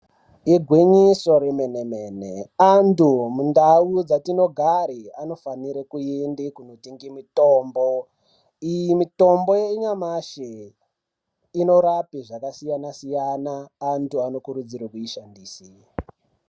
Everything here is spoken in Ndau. Igwinyiso remene mene antu mundau dzatinogara anofana kuenda kundotenga mitombo iyi mitombo yanyamashi inorapa zvakasiyana siyana antu anokurudzirwa kuishandisa.